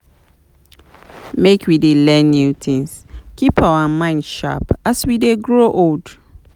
Make we dey learn new things, keep our mind sharp as we dey grow old.